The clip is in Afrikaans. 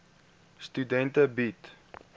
studente bied